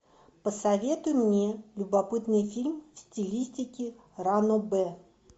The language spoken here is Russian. посоветуй мне любопытный фильм в стилистике ранобэ